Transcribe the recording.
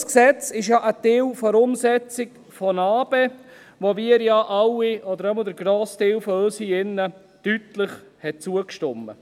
Unser Gesetz ist ja ein Teil der Umsetzung von NA-BE, der wir ja alle, jedenfalls der grosse Teil von uns hier, deutlich zugestimmt haben.